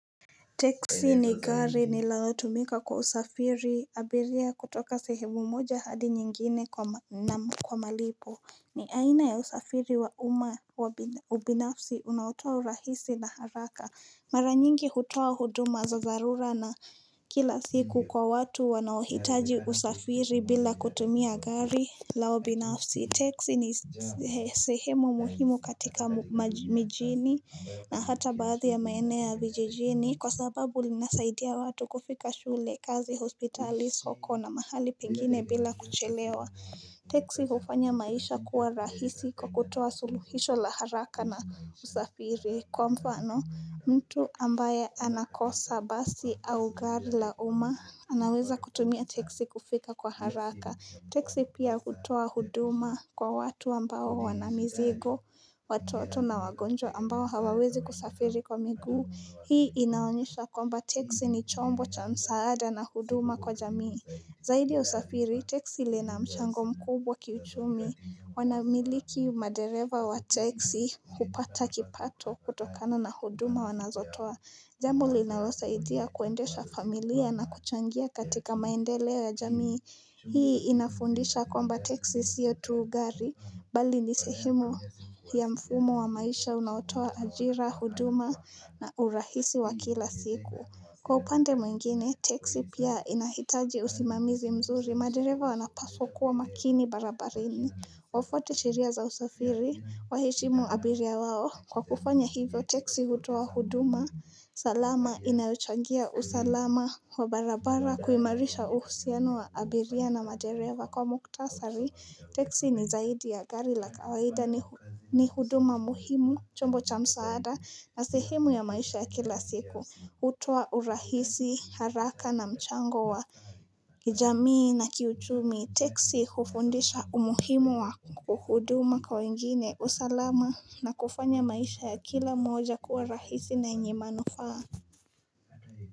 Taxi ni gari nilalo tumika kusafiri abiria kutoka sehemu moja hadi nyingine na kwa malipo. Ni aina ya usafiri wa uma ubinafsi unaotoa urahisi na haraka. Mara nyingi hutoa huduma za dharura kila siku kwa watu wanaohitaji usafiri bila kutumia gari lao binafsi. Texi ni sehemu muhimu katika mijini na hata baadhi ya maeneo ya vijijini Kwa sababu linasaidia watu kufika shule, kazi, hospitali, soko na mahali pengine bila kuchelewa Texi hufanya maisha kuwa rahisi kwa kutoa suluhisho la haraka na usafiri. Kwa mfano mtu ambaye anakosa basi au gari la uma anaweza kutumia texi kufika kwa haraka texi pia hutuoa huduma kwa watu ambao wana mizigo, watoto na wagonjwa ambao hawawezi kusafiri kwa miguu. Hii inaonyesha kwamba texi ni chombo cha msaada na huduma kwa jamii. Zaidi usafiri, texi lina mchango mkubwa kiuchumi. Wanamiliki madereva wa texi hupata kipato kutokana na huduma wanazotoa. Jambo linalo saidia kuendesha familia na kuchangia katika maendeleo ya jamii. Hii inafundisha kwamba texi sio tu gari, bali ni sehemu ya mfumo wa maisha unaotoa ajira, huduma na urahisi wa kila siku. Kwa upande mwingine, texi pia inahitaji usimamizi mzuri, madereva wanapaswa kuwa makini barabarani. Wafwate sheria za usafiri, waheshimu abiria wao. Kwa kufanya hivyo texi hutoa huduma salama inayochangia usalama wa barabara kuimarisha uhusiano wa abiria na madereva kwa muktasari texi ni zaidi ya gari la kawaida ni huduma muhimu chombo cha msaada na sehemu ya maisha ya kila siku Hutuo urahisi haraka na mchango wa kijamii na kiuchumi texi hufundisha umuhimu wa huduma kwa wengine, usalama na kufanya maisha ya kila mmoja kuwa rahisi na yenye manufaa.